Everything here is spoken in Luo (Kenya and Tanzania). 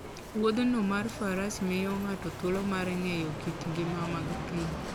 Wuodhno mar faras miyo ng'ato thuolo mar ng'eyo kit ngima mag thim.